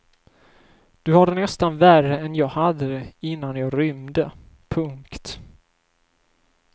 Du har det nästan värre än jag hade det innan jag rymde. punkt